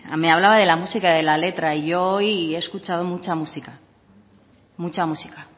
me hablaba de la música y de la letra y yo hoy he escuchado mucha música